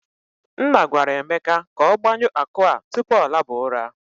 Nna gwara Emeka ka ọ gbanyu akụ a tupu ọ laba ụra.